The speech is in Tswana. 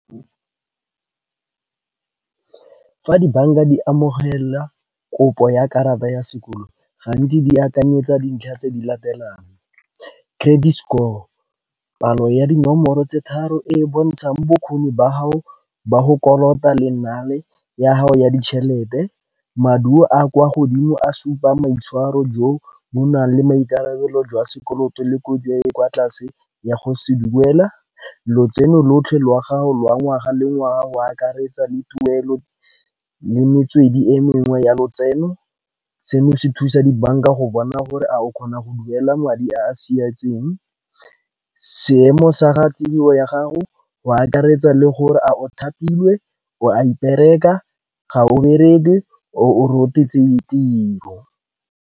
Fa di-bank-a di amogela kopo ya karata ya sekoloto gantsi di akanyetsa dintlha tse di latelang. Credit score palo ya dinomoro tse tharo e e bontshang bokgoni ba hao ba go kolota le nale ya gago ya ditšhelete. Maduo a kwa godimo a supang maitshwaro jo bo nang le maikarabelo jwa sekoloto le kotsi e e kwa tlase ya go se duela. Lotseno lotlhe lwa gago lwa ngwaga le ngwaga go akaretsa le tuelo le metswedi e mengwe ya lotseno. Seno se thusa di-bank-a go bona gore a o kgona go duela madi a a seemo sa ga tiro ya ga go, go akaretsa le gore a o thapilwe o a ipereka ga o bereke o tiro.